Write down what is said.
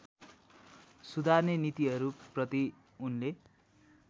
सुधार्ने नीतिहरूप्रति उनले